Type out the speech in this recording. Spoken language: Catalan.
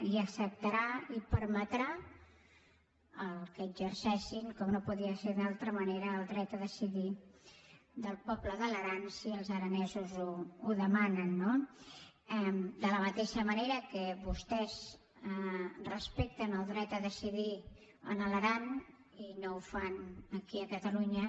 i acceptarà i permetrà que exerceixin com no podia ser d’una altra manera el dret a decidir del poble de l’aran si els aranesos ho demanen no de la mateixa manera que vostès respecten el dret a decidir a l’aran i no ho fan aquí a catalunya